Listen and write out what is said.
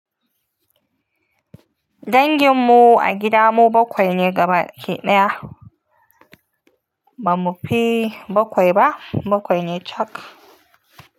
Danginmu a gida mu bakwai ne gaba ɗaya ah. Ba mu fi bakwai ba, bakwai ne cak.